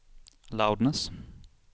loudness